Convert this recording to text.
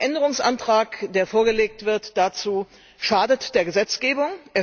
Der Änderungsantrag, der dazu vorgelegt wird, schadet der Gesetzgebung.